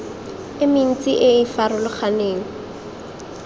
e mentsi e e farologaneng